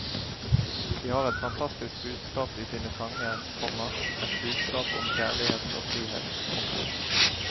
De har et fantastisk budskap i sine sanger, komma et budskap om kjærlighet og frihet. punktum